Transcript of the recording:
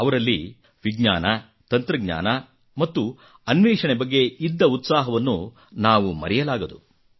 ಅವರಲ್ಲಿ ವಿಜ್ಞಾನ ತಂತ್ರಜ್ಞಾನ ಮತ್ತು ಅನ್ವೇಷಣೆ ಬಗ್ಗೆ ಇದ್ದ ಉತ್ಸಾಹವನ್ನು ನಾವು ಮರೆಯಲಾಗದು